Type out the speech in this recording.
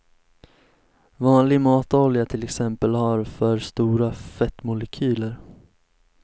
Vanlig matolja till exempel har för stora fettmolekyler.